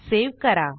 save करा